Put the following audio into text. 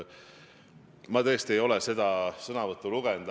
Ma tõesti ei ole seda sõnavõttu lugenud.